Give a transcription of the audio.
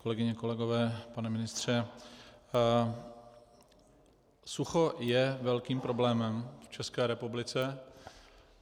Kolegyně, kolegové, pane ministře, sucho je velkým problémem v České republice.